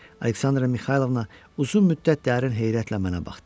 Aleksandra Mixaylovna uzun müddət dərin heyrətlə mənə baxdı.